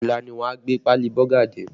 Ọ̀la ni wọ́n a gbé páálí Bọ́gà dé